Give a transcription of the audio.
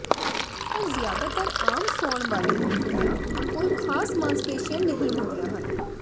ਪਰ ਜ਼ਿਆਦਾਤਰ ਆਮ ਸੌਣ ਵਾਲੇ ਮੁਰਗੀਆਂ ਕੋਲ ਖਾਸ ਮਾਸਪੇਸ਼ੀਆਂ ਨਹੀਂ ਹੁੰਦੀਆਂ ਹਨ